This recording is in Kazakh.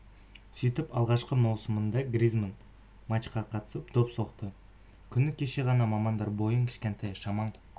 сөйтіп алғашқы маусымында гризманн матчқа қатысып доп соқты күні кеше ғана мамандар бойың кішкентай шамаң